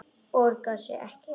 Borgar sig ekki?